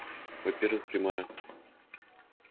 во-первых прямая